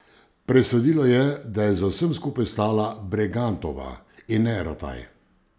Presodilo je, da je za vsem skupaj stala Bregantova, in ne Rataj.